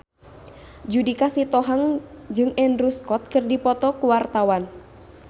Judika Sitohang jeung Andrew Scott keur dipoto ku wartawan